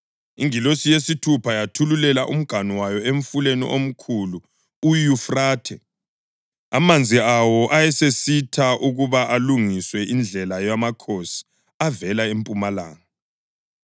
Ingilosi yesithupha yathululela umganu wayo emfuleni omkhulu uYufrathe, amanzi awo asesitsha ukuba kulungiswe indlela yamakhosi avela empumalanga.